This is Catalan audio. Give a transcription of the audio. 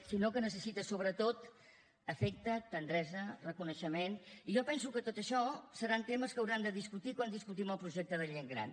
sinó que necessita sobretot afecte tendresa reconeixement i jo penso que tot això seran temes que haurem de discutir quan discutim el projecte de gent gran